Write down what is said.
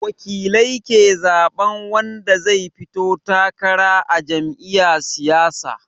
Wakilai ke zaɓan wanda zai fito takara a jam'iya siyasa